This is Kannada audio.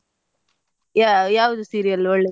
ಯಾವ್ದು serial ಒಳ್ಳೆದಿದೆ